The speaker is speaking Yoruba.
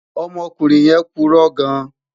Ọmọkunrin yẹn purọ gan